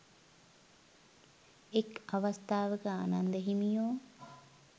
එක් අවස්ථාවක ආනන්ද හිමියෝ